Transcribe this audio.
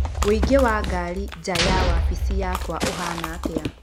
ũingĩ wa ngari nja ya wabici yakwa ũhaana atĩa